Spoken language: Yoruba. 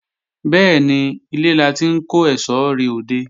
Bẹ́ẹ̀ni, ilé la ti ń kó èsó re òde